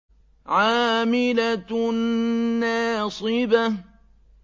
عَامِلَةٌ نَّاصِبَةٌ